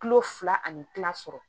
Kilo fila ani kila sɔrɔ